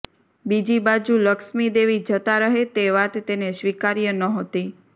બીજી બાજુ લક્ષ્મી દેવી જતાં રહે તે વાત તેને સ્વીકાર્ય નહોતી